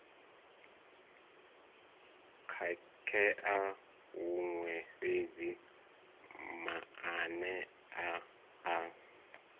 khakhea huṅwe fhedzi maanea a